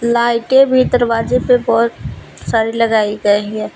लाइटे भी दरवाजे पे बहोत सारी लगाई गई है।